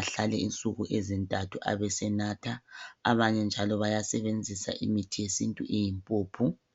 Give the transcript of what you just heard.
Ahlale insuku ezintathu abesenatha, abanye njalo bayasebenzisa imithi yesintu eyimpuphu.